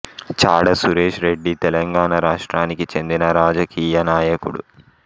చాడ సురేష్ రెడ్డి తెలంగాణ రాష్ట్రానికి చెందిన రాజకీయ నాయకుడు